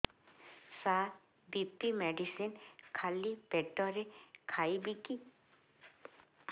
ସାର BP medicine ଖାଲି ପେଟରେ ଖାଇବି କି